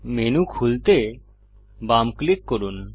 menu খুলতে বাম click করুন